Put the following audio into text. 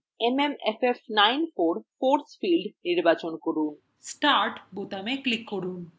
mmff94 force field নির্বাচন করুন `start বোতামে click করুন